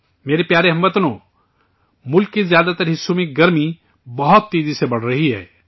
میرے پیارے ہم وطنو، ملک کے زیادہ تر حصوں میں گرمی بہت تیزی سے بڑھ رہی ہے